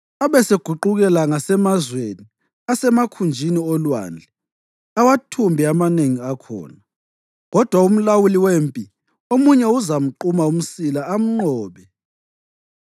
Abeseguqukela ngasemazweni asemakhunjini olwandle awathumbe amanengi akhona, kodwa umlawuli wempi omunye uzamquma umsila amnqobe.